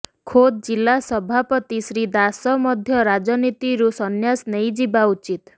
ଖୋଦ୍ ଜିଲ୍ଲା ସଭାପତି ଶ୍ରୀ ଦାସ ମଧ୍ୟ ରାଜନୀତିରୁ ସନ୍ନ୍ୟାସ ନେଇଯିବା ଉଚିତ୍